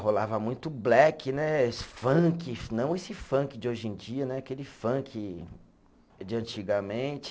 Rolava muito black né, funk, não esse funk de hoje em dia né, aquele funk de antigamente.